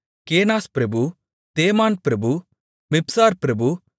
கேனாஸ் பிரபு தேமான் பிரபு மிப்சார் பிரபு